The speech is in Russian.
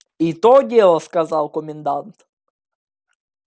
и то дело сказал комендант